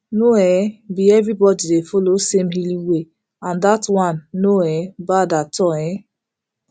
no um be everybody dey follow same healing way and that one no um bad at all um